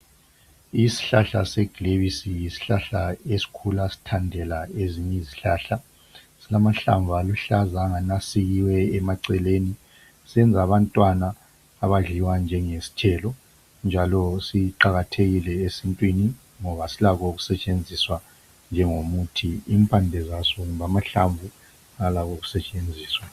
Isihlahla seglays yisihlahla esikhula sithandela ezinye izihlahla silamahlamvu aluhlaza angani asikiwe emaceleni siyenza abantwana abadliwa njengesithelo njalo siqakathekile esintwini ngoba silakho ukusetshenziswa njengomuthi impande zaso kumbe amahlamvu alakho ukusetshenziswa